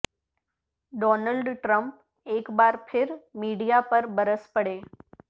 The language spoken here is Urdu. ڈونلڈ ٹرمپ ایک بار پھر میڈیا پر برس پڑے